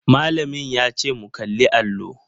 Malamin yace mu kalli allo.